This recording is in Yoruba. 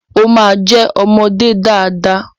O ma jẹ ọmọdé dada.